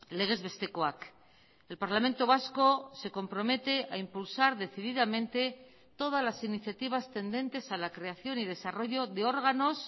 legez bestekoak el parlamento vasco se compromete a impulsar decididamente todas las iniciativas tendentes a la creación y desarrollo de órganos